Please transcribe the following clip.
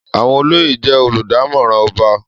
Àwọn olóyè jé olùdámọ̀ràn ọba